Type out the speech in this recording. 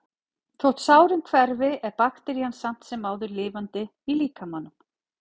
Þótt sárin hverfi er bakterían samt sem áður lifandi í líkamanum.